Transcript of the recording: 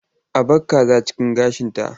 A bar kaza cikin gashinta.